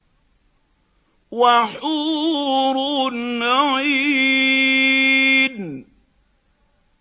وَحُورٌ عِينٌ